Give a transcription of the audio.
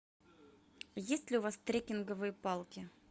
есть ли у вас трекинговые палки